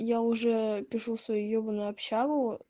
я уже пишу свою ебанныю общагу